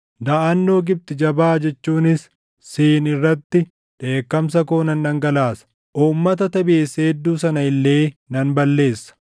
Daʼannoo Gibxi jabaa jechuunis Siin irratti dheekkamsa koo nan dhangalaasa; uummata Tebesi hedduu sana illee nan balleessa.